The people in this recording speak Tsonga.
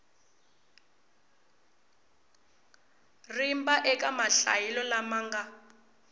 rimba eka mahlayelo lama nga